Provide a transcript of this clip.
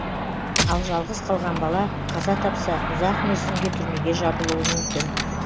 ал жалғыз қалған бала қаза тапса ұзақ мерзімге түрмеге жабылуы мүмкін